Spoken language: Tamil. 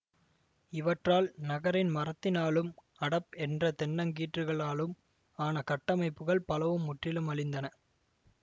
இவற்றால் நகரின் மரத்தினாலும் அடப் என்ற தென்னக்கீற்றுகளாலும் ஆன கட்டமைப்புக்கள் பலவும் முற்றிலும் அழிந்தன